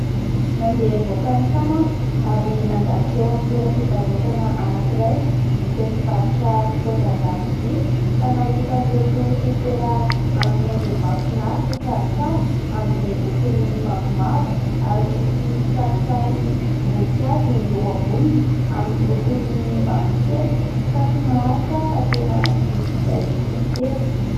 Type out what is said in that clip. Nandeha nivoaka ny trano aho ary nandalo teo amin'ny toeram-pivarotana anankiray izay mivarotra fitaovan-dakozia ka nahita an'ireto sopera amin'ny endriny mahafinaritra sady tsara amin'izay lokony mavomavo ary misy kisarisarim-boninkazo eo amboniny amin'ny lokony mavokely ka tsy naharitra aho fa tena nividy ilay sopera.